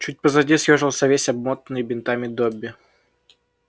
чуть позади съёжился весь обмотанный бинтами добби